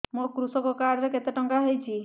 ମୋ କୃଷକ କାର୍ଡ ରେ କେତେ ଟଙ୍କା ଖର୍ଚ୍ଚ ହେଇଚି